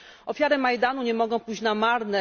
Ofiary Majdanu nie mogą pójść na marne.